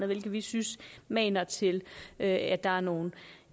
hvilket vi synes maner til at der er nogle